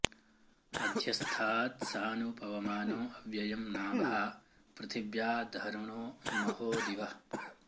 अध्य॑स्था॒त्सानु॒ पव॑मानो अ॒व्ययं॒ नाभा॑ पृथि॒व्या ध॒रुणो॑ म॒हो दि॒वः